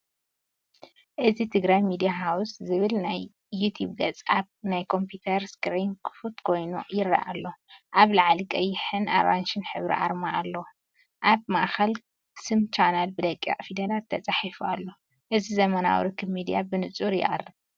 እዚ"ትግራይ ሚድያ ሃውስ” ዝብል ናይ ዩቱብ ገጽ ኣብ ናይ ኮምፒተር ስክሪን ክፉት ኮይኑ ይረአ ኣሎ። ኣብ ላዕሊ ቀይሕን ኣራንሺን ሕብሪ ኣርማ ኣሎ። ኣብ ማእከል ስም ቻነል ብደቂቕ ፊደላት ተፃሒፉ ኣሎ። እዚ ዘመናዊ ርክብ ሚድያ ብንጹር የቕርብ።